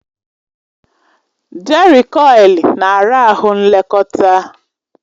Jerịkọil na ara ahụ nlekọta.